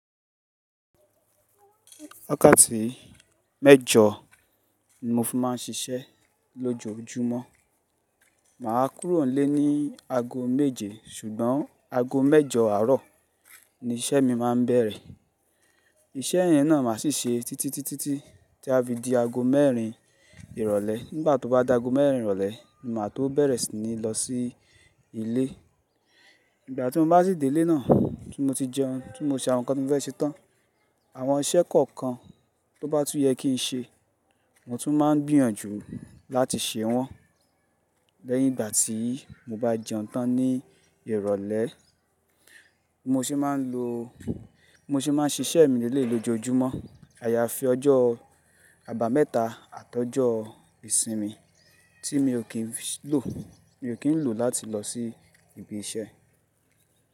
Wakaàtì mẹ́jọ ni mo fi máà ń ṣiṣẹ́ lójoójúmọ́. Mà á kúrò nlé ní aago méje ṣùgbọ́n aago mẹ́jọ àárọ̀ ni iṣẹ́ mi má a ń bẹ̀rẹ̀. Iṣẹ́ yẹn náà ma ṣì ṣe títí títí tí a fi di aago mẹ́rin ìrọ̀lẹ́. Nígbà tó bá daago mẹ́rin ìrọ̀lẹ́ ni màá tó bẹ̀rẹ̀ sí ní lọ sí ilé. Igbà tí mo bá sì dé ilé náà, tí mo ti jẹun, tí mo ṣe àwọn nǹkan tí mo fẹ́ ṣe tán, àwọn iṣẹ́ kọ̀ọ̀kan tó bá tún yẹ kí n ṣe, mo tún máa ń gbìyànjú láti ṣe wọ́n. Lẹ́yìn ìgbà tí mo bá jẹun tán ní ìrọ̀lẹ́, mo sì máa ń lo Bi mo se máa ń ṣiṣẹ́ mi lele yi lójoójumọ́. Àyàfi ọjọ́o àbámẹ́ta àtọ́joọ ìsinmi tí mi ò kín lò, mi ò kín ń lò ó láti lọ sí ibi iṣẹ́.